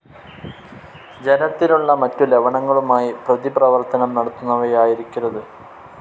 ജലത്തിലുള്ള മറ്റു ലവണങ്ങളുമായി പ്രതിപ്രവർത്തനം നടത്തുന്നവയായിരിക്കരുത്